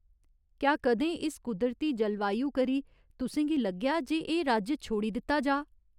क्या कदें इस कुदरती जलवायु करी तुसें गी लग्गेआ जे एह् राज्य छोड़ी दित्ता जाऽ।